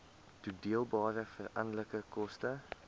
toedeelbare veranderlike koste